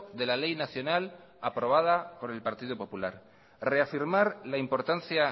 de la ley nacional aprobada por el partido popular reafirmar la importancia